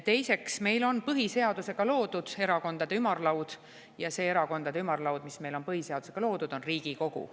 Teiseks, meil on põhiseadusega loodud erakondade ümarlaud ja see erakondade ümarlaud, mis meil on põhiseadusega loodud, on Riigikogu.